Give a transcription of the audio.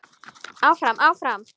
Áfram, áfram.